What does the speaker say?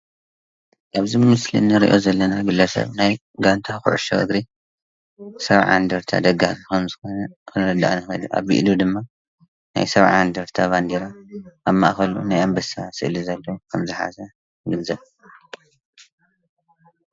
እዚ ምስሊ ንሪኦ ዘለና ግለሰብ ናይ ጋንታ ኩዕሾ እግሪ ሰብዓ እንድርታ ደጋፊ ከምዝኾነ ክንርዳእ ንኽእል ኢና፡፡ ኣብ ኢዱ ድማ ናይ ሰብዓ እንድርታ ባንዴራ ኣብ ማእኸሉ ናይ ኣንበሳ ስእሊ ዘለዎ ዝሓዘ።